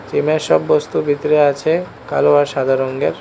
জিমের এর সব বস্তু ভিতরে আছে কালো আর সাদা রংগের।